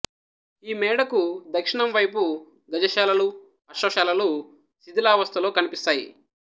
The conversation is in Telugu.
ఈ మేడకు దక్షిణం వైపు గజశాలలు అశ్వశాలలు శిథిలావస్థలో కనిపిస్తాయి